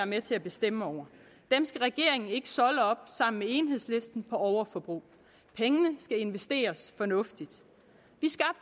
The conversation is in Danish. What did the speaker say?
med til at bestemme over dem skal regeringen ikke solde op sammen med enhedslisten på overforbrug pengene skal investeres fornuftigt